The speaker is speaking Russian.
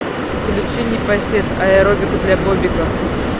включи непосед аэробика для бобика